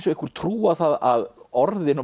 einhver trú á það að orðin og